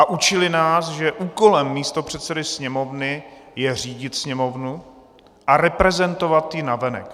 A učili nás, že úkolem místopředsedy Sněmovny je řídit Sněmovnu a reprezentovat ji navenek.